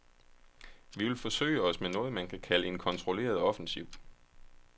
Vi vil forsøge os med noget, man kan kalde en kontrolleret offensiv.